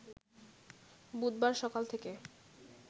বুধবার সকাল থেকে